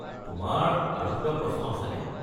তোমাৰ আৰু কিবা প্ৰশ্ন আছেনে?